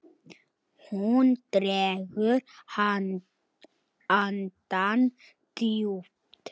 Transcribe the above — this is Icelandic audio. Hún dregur andann djúpt.